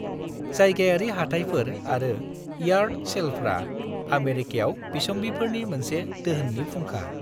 जायगायारि हाथायफोर आरो यार्ड सेलफ्रा आमेरिकायाव बिसम्बिफोरनि मोनसे दोहोननि फुंखा।